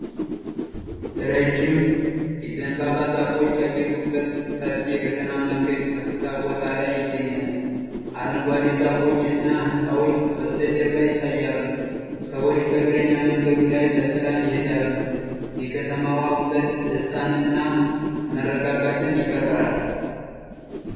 ረዥም የዘንባባ ዛፎች ያጌጡበት ሰፊ የከተማ መንገድ ከፍታ ቦታ ላይ ይገኛል። አረንጓዴ ዛፎች እና ሕንፃዎች ከበስተጀርባ ይታያሉ። ሰዎች በእግረኛ መንገዱ ላይ በሰላም ይሄዳሉ። የከተማዋ ውበት ደስታን እና መረጋጋትን ይፈጥራል።